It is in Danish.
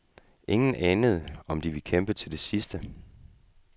Ingen anede, om de ville kæmpe til det sidste.